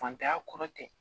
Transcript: Fantanya kɔrɔ tɛ